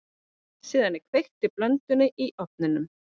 Síðan er kveikt í blöndunni í ofni.